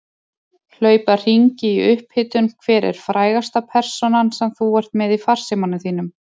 Hlaupa hringi í upphitun Hver er frægasta persónan sem þú ert með í farsímanum þínum?